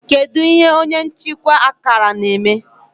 kedu ihe onye nchịkwa akara na-eme